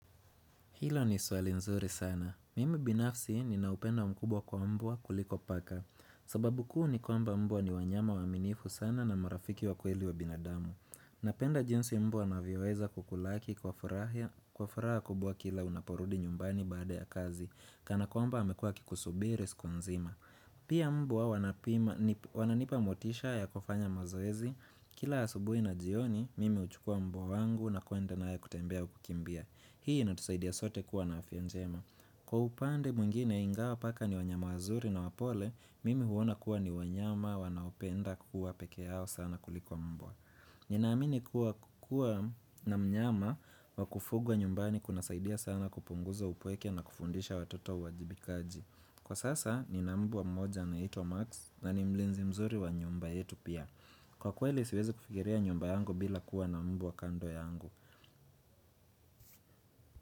Hilo ni swali nzuri sana. Mimi binafsi ni naupendo mkubwa kwa mbwa kuliko paka. Sababu kuu ni kwamba mbwa ni wanyama waaminifu sana na marafiki wa kweli wa binadamu. Napenda jinsi mbwa ana vyoweza kukulaki kwa furaha kubwa kila unaporudi nyumbani baada ya kazi. Kana kwamba amekuwa akikusubiri siku mzima. Pia mbwa wananipa motisha ya kufanya mazoezi. Kila asubui na jioni, mimi uchukua mbwa wangu na kwenda naye kutembea au kukimbia. Hii ina tusaidia sote kuwa na afya njema Kwa upande mwingine ingawa paka ni wanyama wazuri na wapole Mimi huona kuwa ni wanyama wanaopenda kuwa peke yao sana kulikuwa mbwa Ninaamini kuwa na mnyama wakufugwa nyumbani kuna saidia sana kupunguza upweke na kufundisha watoto uwajibikaji Kwa sasa ni na mbwa mmoja anayeitwa Max na ni mlinzi mzuri wa nyumba yetu pia Kwa kweli siwezi kufikiria nyumba yangu bila kuwa na mbwa kando yangu.